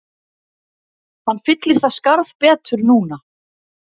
Hann fyllir það skarð betur núna